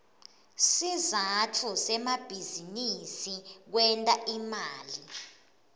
sizatfu semabizinisi kwenta imali